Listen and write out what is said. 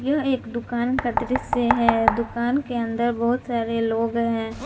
यह एक दुकान का दृश्य है दुकान के अंदर बहुत सारे लोग हैं।